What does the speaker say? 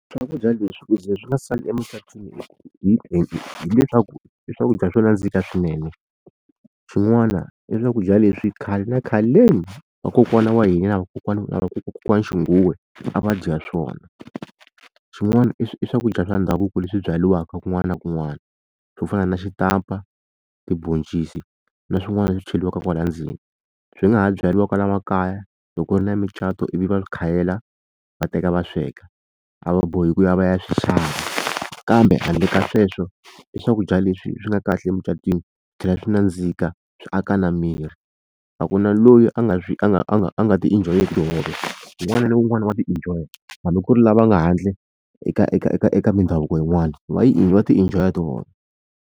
Swakudya leswi ku za swi nga sali emucatweni hileswaku i swakudya swo nandzika swinene xin'wana i swakudya leswi khale na khaleni vakokwana wa hina na na vakokwana xinguwa a va dya swona xin'wana i swakudya swa ndhavuko leswi byariwaka kun'wana na kun'wana swo fana na xitampa tiboncisi na swin'wana leswi cheriwaka kwala ndzeni swi nga ha byariwa kwala makaya loko ri na micato ivi va khayela va teka va sweka a va bohi ku ya va ya swi xava kambe handle ka sweswo i swakudya leswi swi nga kahle emucatweni swi tlhela swi nandzika swi aka na miri a ku na loyi a nga swi a nga a nga a nga ti enjoy-iki tihove un'wana na un'wana wa ti enjoy-a hambi ku ri lava nga handle eka eka eka eka mindhavuko yin'wani va yi va ti enjoy-a tihove.